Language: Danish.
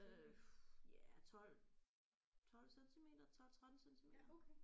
Øh ja 12 12 centimeter 12 13 centimeter